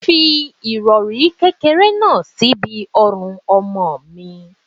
Fi irori kékeré náà síbi ọrùn ọmọ mi.